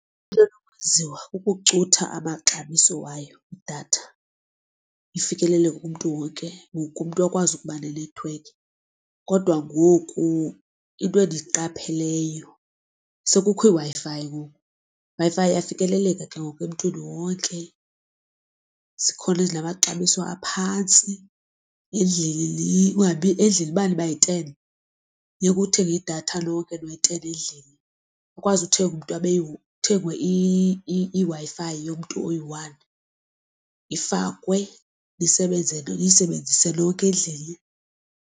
Into enokwenziwa kukucutha amaxabiso wayo idatha ifikelele kumntu wonke, wonke umntu akwazi kuuba nenethiwekhi. Kodwa ngoku into endiyiqapheleyo sekukho iWi-Fi ngoku Wi-Fi iyafikeleleka ke ngoku emntwini wonke. Zikhona ezinamaxabiso aphantsi endlini endlini uba nibayi-ten funeka uthenge idatha lonke ke noyi-ten endlini. Ukwazi uthenga umntu abe, kuthenge iWi-Fi yomntu oyi-one ifakwe niyisebenzise nonke endlini.